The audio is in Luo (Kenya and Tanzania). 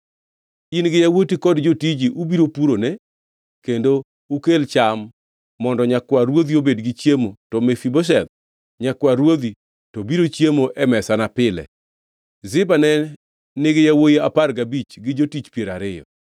In gi yawuoti kod jotiji ubiro purone kendo ukel cham mondo nyakwar ruodhi obed gi chiemo to Mefibosheth, nyakwar ruodhi, to biro chiemo e mesana pile.” Ziba ne nigi yawuowi apar gabich gi jotich piero ariyo.